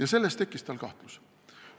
Aga sellest tekkis tal kahtlus.